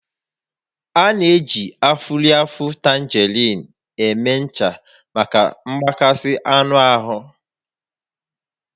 A na-eji afụrịfụ tangerine eme ncha maka mgbakasị anụ ahụ